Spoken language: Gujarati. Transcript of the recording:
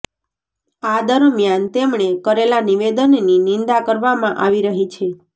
આ દરમિયાન તેમણે કરેલા નિવેદનની નિંદા કરવામાં આવી રહી છે